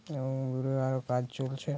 এবং দূরে আরো কাজ চলছে।